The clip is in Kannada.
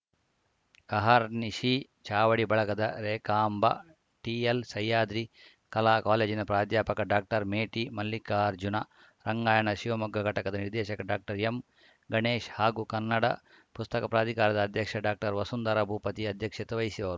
ಅಹರ್ನಿಶಿ ಚಾವಡಿ ಬಳಗದ ರೇಖಾಂಬ ಟಿಎಲ್‌ ಸಹ್ಯಾದ್ರಿ ಕಲಾ ಕಾಲೇಜಿನ ಪ್ರಾಧ್ಯಾಪಕ ಡಾಕ್ಟರ್ಮೇಟಿ ಮಲ್ಲಿಕಾರ್ಜುನ ರಂಗಾಯಣ ಶಿವಮೊಗ್ಗ ಘಟಕದ ನಿರ್ದೇಶಕ ಡಾಕ್ಟರ್ಎಂಗಣೇಶ್‌ ಹಾಗೂ ಕನ್ನಡ ಪುಸ್ತಕ ಪ್ರಾಧಿಕಾರದ ಅಧ್ಯಕ್ಷ ಡಾಕ್ಟರ್ವಸುಂಧರಾ ಭೂಪತಿ ಅಧ್ಯಕ್ಷತೆ ವಹಿಸಿವರು